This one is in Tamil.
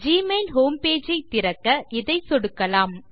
ஜிமெயில் ஹோம் பேஜ் ஐத் திறக்க இதை சொடுக்கலாம்